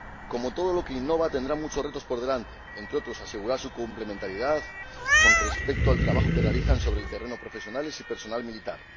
Como todo lo que innova, tendrán muchos retos por delante entre otros, asegurar su complementariedad con respecto al trabajo que realizan sobre el terreno profesionales y personal militar.